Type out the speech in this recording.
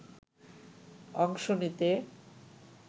অংশ নিতে